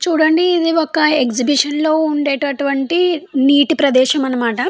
చూడండి ఇది ఒక ఎగ్జిబిషన్ లోనే ఉండేటువంటి నీటి ప్రదేశం అని మాట.